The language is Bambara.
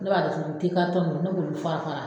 Ne b'a datugu nin te karitɔn nunnu ne b'olu fara fara